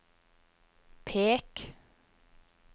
pek